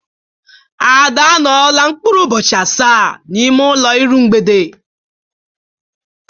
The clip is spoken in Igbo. Ada anọọla mkpụrụ ụbọchị asaa n'ime ụlọ iru mgbede.